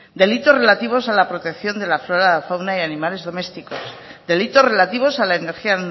delitos relativos a la protección de la flora la fauna y animales domésticos delitos relativos a la energía